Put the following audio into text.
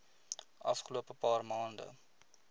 afgelope paar maande